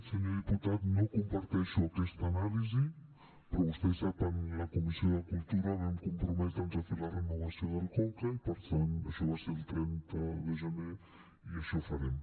senyor diputat no comparteixo aquesta anàlisi però vostè sap en la comissió de cultura vam comprometre’ns a fer la renovació del conca i per tant això va ser el trenta de gener i això farem